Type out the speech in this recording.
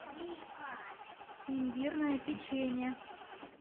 имбирное печенье